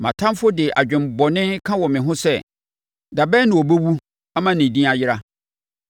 Mʼatamfoɔ de adwene bɔne ka wɔ me ho sɛ: “Da bɛn na ɔbɛwu ama ne din ayera?”